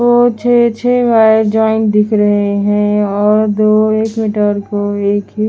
और छे-छे wire join दिख रहे है और दो एक मीटर को एक --